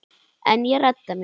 En ég redda mér.